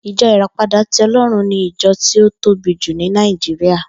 Ijò Iràpádà ti Òlòrún ni ijò ti ó tóbí jú ni Nàijiriá